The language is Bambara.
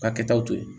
Ka kɛtaw to yen